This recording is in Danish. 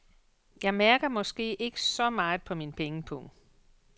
Jeg mærker måske ikke så meget på min pengepung.